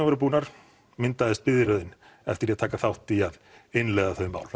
voru búnar myndaðist biðröðin eftir því að taka þátt í að innleiða þau mál